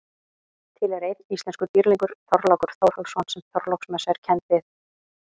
Til er einn íslenskur dýrlingur, Þorlákur Þórhallsson sem Þorláksmessa er kennd við.